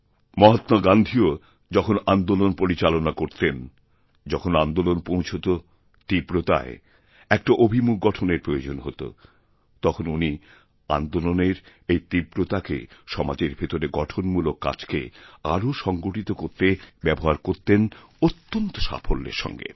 মহাত্মা গান্ধীও যখন আন্দোলনপরিচালনা করতেন যখন আন্দোলন পৌঁছত তীব্রতায় একটা অভিমুখ গঠনের প্রয়োজন হত তখনউনি আন্দোলনের এই তীব্রতাকে সমাজের ভেতরে গঠনমূলক কাজকে আরও সংগঠিত করতে ব্যবহার করতেনঅত্যন্ত সাফল্যের সঙ্গে